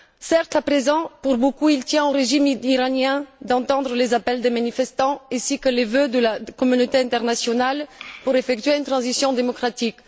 Certes, à présent, pour beaucoup, il ne tient qu'au régime iranien d'entendre les appels des manifestants ainsi que les vœux de la communauté internationale pour effectuer une transition démocratique.